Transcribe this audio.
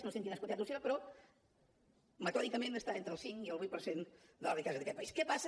no sé en quines quantitats oscil·la però metòdicament està entre el cinc i el vuit per cent de la riquesa d’aquest país